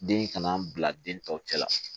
Den in kana n bila den tɔw cɛ la